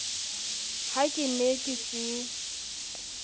ha ke ne ke se